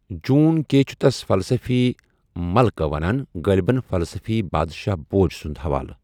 جون کے چھُ تس فلسفی مٔلکہ ونان ، غٲلبن فلسفی بادشاہ بھوج سُند حوالہٕ۔